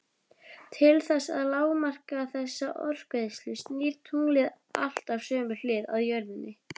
Til þess að lágmarka þessa orkueyðslu snýr tunglið alltaf sömu hlið að jörðinni.